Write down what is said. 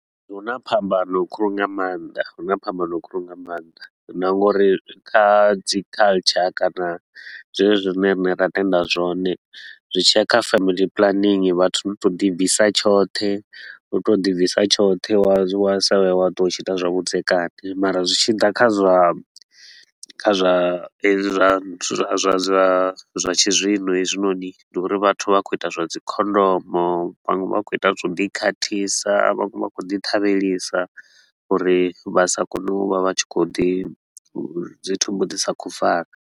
Huna phambano khulu nga maanḓa, huna phambano khulu nga maanḓa na nga uri kha dzi culture kana zwenezwi zwine rine ra tenda zwone. Zwi tshi ya kha family planning, vhathu ndi u tou ḓi bvisa tshoṱhe ndi u tou ḓi bvisa tshoṱhe wa zwi wa sa vhe wa ṱwa u tshi ita zwavhudzekani mara zwi tshi ḓa kha zwa kha zwa hezwi zwa nthu zwa zwa zwa tshizwino hezwinoni. Ndi uri vhathu vha khou ita zwa dzi khondomu, vhaṅwe vha khou ita zwa u ḓi khathisa, vhaṅwe vha khou ḓi ṱhavhelisa uri vha sa kone u vha vha tshi khou ḓi dzi thumbu dzi sa khou fara.